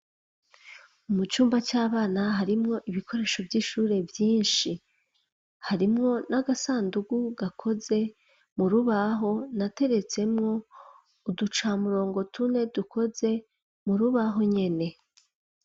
Mucumba c'abana, harimwo ibikoresho vyinshi, harimwo n'agasandugu gakoze murubaho nateretsemwo uducamurongo tune, dukoze murubaho nyene.